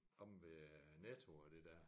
Omme ved Netto og det der